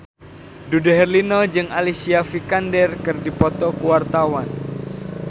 Dude Herlino jeung Alicia Vikander keur dipoto ku wartawan